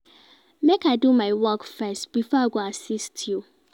Make I do my work first before I go assist you.